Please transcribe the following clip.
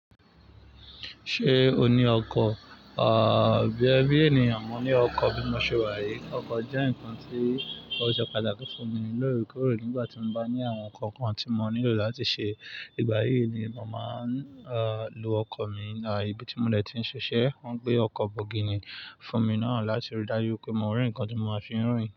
Ṣé o ní ọkọ̀? Bí ènìyàn mọ ní ọkọ̀ bí mo ṣe wá yí. Ọkọ̀ jẹ́ nǹkan tí o ṣe pàtàkì fún mi lórekorè nígbà tí mo bá ní àwọn nǹkan kan tí mo nílò láti ṣe. Ìgbà yìí ni mo máa ń lo ọkọ̀ mi. Ibi tí mo de ti ń ṣiṣẹ́, wọ́n gbé ọkọ̀ bọ̀gìnì fún mi náà láti rí dájú pé mo rì nǹkan tí mo máa fi rìn.